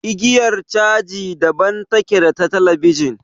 Igiyar caji daban take da ta talabijin.